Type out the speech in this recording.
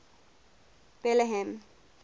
betlehem